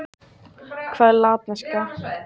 Þessar tegundir bera þá hver sitt latneska heiti.